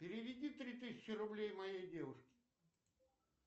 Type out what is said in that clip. переведи три тысячи рублей моей девушке